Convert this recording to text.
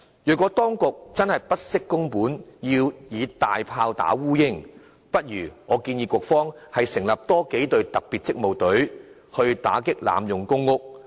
如果當局真的不惜工本，要以"大砲打烏蠅"，我建議局方倒不如多成立幾隊特別職務隊，打擊濫用公屋。